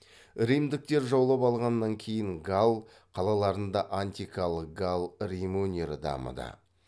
римдіктер жаулап алғаннан кейін галл қалаларында антикалық галл рим өнері дамыды